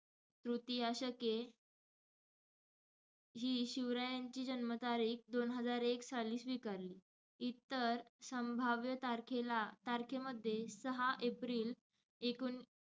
तृतीया शके ही शिवरायांची जन्मतारीख दोन हजार एक साली स्वीकारली. इतर संभाव्य तारखेला~ तारखेमध्ये सहा एप्रिल ऐकोन,